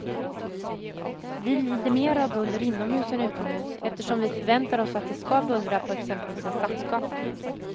Vi lider mera av buller inomhus än utomhus, eftersom vi förväntar oss att det ska bullra på exempelvis en stadsgata.